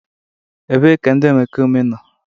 ebee ka ndị omekome nọ?